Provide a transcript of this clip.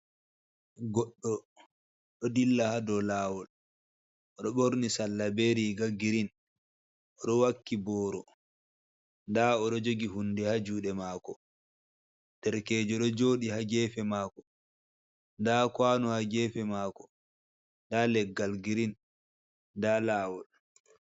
Goɗɗo ɗo dilla ha do lawol odo ɓorni salla be riga girin oɗo wakki boro da oɗo jogi hunde ha juɗe mako ɗerkejo ɗo joɗi ha gefe mako da kwano ha gefe mako da leggal girin, da lawol.